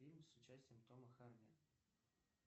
фильм с участием тома харди